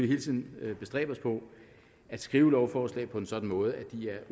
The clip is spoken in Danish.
hele tiden bestræbe os på at skrive lovforslag på en sådan måde at de er